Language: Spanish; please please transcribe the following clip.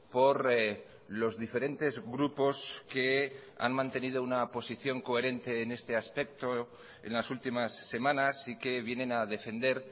por los diferentes grupos que han mantenido una posición coherente en este aspecto en las últimas semanas y que vienen a defender